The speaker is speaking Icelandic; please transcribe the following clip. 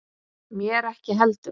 Mér ekki heldur.